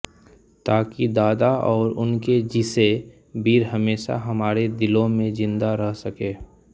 ताकि दादा और उनके जिसे वीर हमेशा हमारे दिलो में जिंदा रह सके